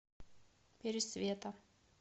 пересвета